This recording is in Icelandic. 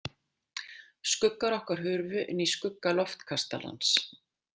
Skuggar okkar hurfu inn í skugga Loftkastalans.